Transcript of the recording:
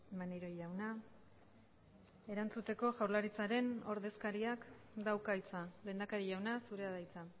maneiro jauna erantzuteko jaurlaritzaren ordezkariak dauka hitza lehendakari jauna zurea da hitza